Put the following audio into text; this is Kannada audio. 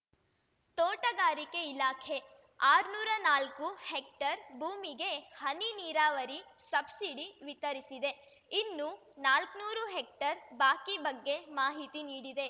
ತೋಟಗಾರಿಕೆ ಇಲಾಖೆ ಆರ್ನೂರಾ ನಾಲ್ಕು ಹೆಕ್ಟರ್‌ ಭೂಮಿಗೆ ಹನಿ ನೀರಾವರಿ ಸಬ್ಸಿಡಿ ವಿತರಿಸಿದೆ ಇನ್ನು ನಾಲ್ಕ್ನೂರು ಹೆಕ್ಟರ್‌ ಬಾಕಿ ಬಗ್ಗೆ ಮಾಹಿತಿ ನೀಡಿದೆ